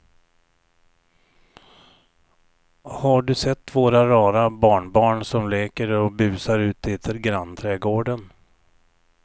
Har du sett våra rara barnbarn som leker och busar ute i grannträdgården!